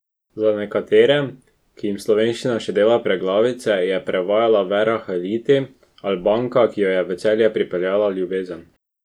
Za nekatere, ki jim slovenščina še dela preglavice, je prevajala Vera Haliti, Albanka, ki jo je v Celje pripeljala ljubezen.